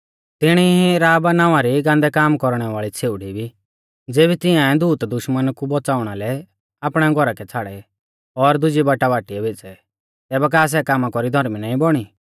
तिणी ई राहब नावां री गान्दै काम कौरणै वाल़ी छ़ेउड़ी भी ज़ेबी तिंआऐ दूत दुश्मन कु बौच़ाउणा लै आपणै घौरा कै छ़ाड़ै और दुजी बाटा बाटीऐ भेज़ै तैबै का सै कामा कौरी धौर्मी नाईं बौणी